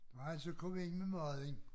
Når jeg så kom ind med maden